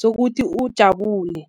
sokuthi ujabulile.